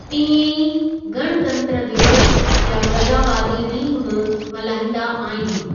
ईअं ई गणतंत्र दिवस या प्रजावादी ॾींहं बि मल्हाईंदा आहियूं।